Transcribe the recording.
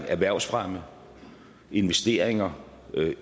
erhvervsfremme investeringer